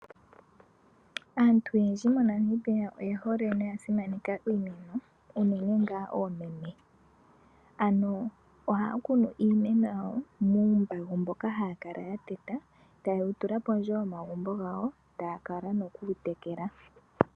Aantu oyendji moNamibia oyehole noyasimaneka iimeno unene ngaa oomeme ano ohaakunu iimeno muumbago wawo mboka hayakala yateta tayewutula tewu tula pondje yomagumbo gawo taakala nokutekela.